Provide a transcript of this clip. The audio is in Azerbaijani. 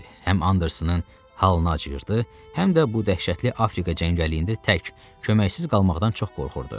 Həm Andersonun halına acıyırdı, həm də bu dəhşətli Afrika cəngəlliyində tək, köməksiz qalmaqdan çox qorxurdu.